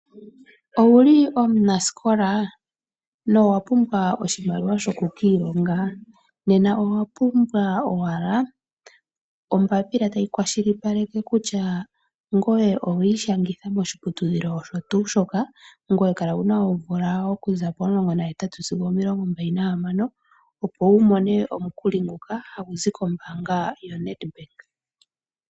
Owu ki omunasikola no wa pumbwa oshimaliwa sho ku ka ilonga? Nena owa pumbwa owala ombapila tayi kwashilipaleke kutya ngoye owa ishangitha moshiputudhilo osho tuu shoka. Ngoye kala wuna oomvula okuza pomulongo na hetatu sigo o pomilongo mbali na hamano, opo wu mone omukuli nguka. Ha gu zi kombaanga yo NedBank.